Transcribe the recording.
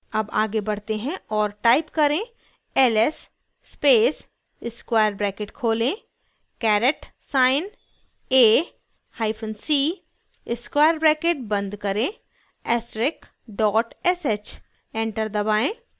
अब आगे बढ़ते हैं और type करें ls space square bracket खोलें caret caret sign a hyphen c square bracket बंद करें ऐस्टरिक dot sh enter दबाएं